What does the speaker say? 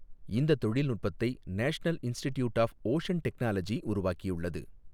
இந்த தொழில்நுட்பத்தை national institute of ocean technology உருவாக்கியுள்ளது.